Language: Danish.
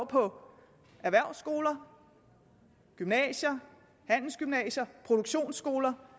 på erhvervsskoler gymnasier handelsgymnasier og produktionsskoler